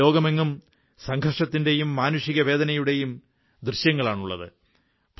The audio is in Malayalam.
ഇന്ന് ലോകമെങ്ങും സംഘർഷത്തിന്റെയും മാനുഷിക വേദനയുടെയും ദൃശ്യങ്ങളാണുള്ളത്